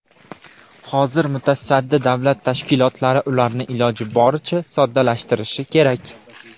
Hozir mutasaddi davlat tashkilotlari ularni iloji boricha soddalashtirishi kerak.